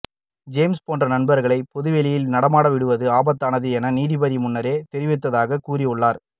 James போன்ற நபர்களை பொது வெளியில் நடமாட விடுவது ஆபத்தானது என நீதிபதியே முன்னர் தெரிவித்ததாக கூறியுள்ளார்